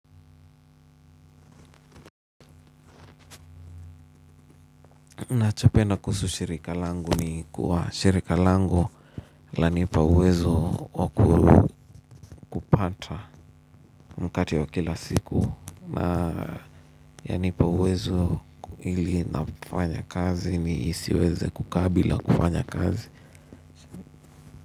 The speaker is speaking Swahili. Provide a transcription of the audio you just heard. Nacho penda kuhusu shirika langu ni kuwa shirika langu lanipa uwezo wakupata mkate wa kila siku na yanipa uwezo ili nafanya kazi ni siweze kukaa bila kufanya kazi.